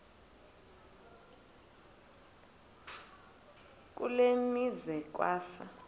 kule meazwe kwafa